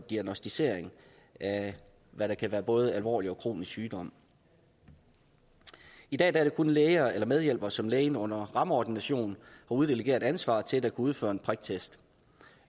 diagnosticering af hvad der kan være både alvorlig og kronisk sygdom i dag er det kun læger eller medhjælpere som lægen under rammeordination uddelegerer ansvaret til der kan udføre en priktest